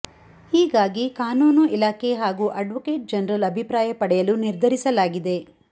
ಹೀಗಾಗಿ ಕಾನೂನು ಇಲಾಖೆ ಹಾಗೂ ಅಡ್ವೊಕೇಟ್ ಜನರಲ್ ಅಭಿಪ್ರಾಯ ಪಡೆಯಲು ನಿರ್ಧರಿಸಲಾಗಿದೆ